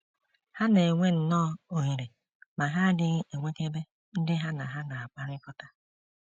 Ha na - enwe nnọọ ohere ma ha adịghị enwekebe ndị ha na ha na - akpakọrịta. ”